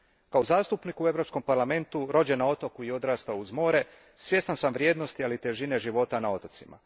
Kao zastupnik u Europskom parlamentu, rođen na otoku i odrastao uz more, svjestan sam vrijednosti ali i težine života na otocima.